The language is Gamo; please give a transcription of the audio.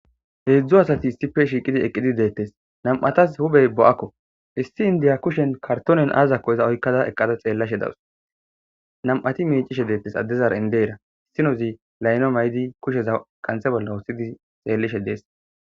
Heedzdzo asati issife shiiqidi eqqidi deettes nam7atas hubey bo7akko issi indiya kushen kartonen aazakko iza oykkada eqqada xeellashe dawus nam7ati miicishe deettes addezara indeera issinozi layno maydi kusheza kanthe bolla wussidi xeellishe dees.